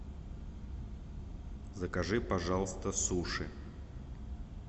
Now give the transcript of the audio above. закажи пожалуйста суши